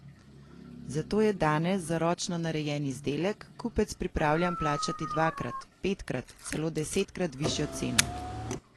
Zato je danes za ročno narejen izdelek kupec pripravljen plačati dvakrat, petkrat, celo desetkrat višjo ceno.